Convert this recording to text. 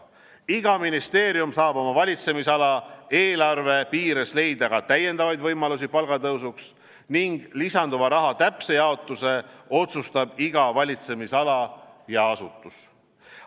Iga ministeerium saab oma valitsemisala eelarve piires leida ka täiendavaid võimalusi palgatõusuks ning lisanduva raha täpse jaotuse otsustab iga valitsemisala ja asutus.